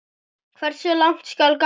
Hversu langt skal ganga?